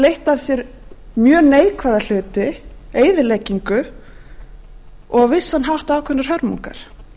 leitt af sér mjög neikvæða hluti eyðileggingu og á vissan hátt ákveðnar hörmungar